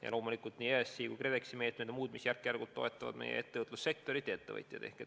Ja loomulikult on EAS-i ja KredExi meetmed, mis järk-järgult toetavad meie ettevõtlussektorit, meie ettevõtjaid.